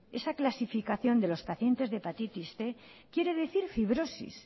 esa clasificación de los pacientes de hepatitis cien quiere decir fibrosis